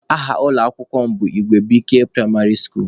Aha ụlọ akwụkwọ mụ bụ Igwebuike pụraịmarị skuulu.